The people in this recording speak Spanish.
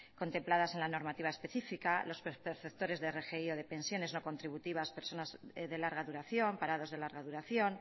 contempladas en la normativa específica los perceptores de rgi o de pensiones no contributivas personas de larga duración parados de larga duración